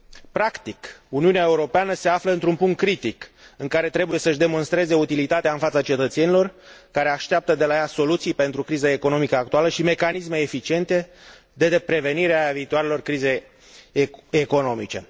Practic, Uniunea Europeană se află într un punct critic, în care trebuie să și demonstreze utilitatea în fața cetățenilor, care așteaptă de la ea soluții pentru criza economică actuală și mecanisme eficiente de prevenire a viitoarelor crize economice.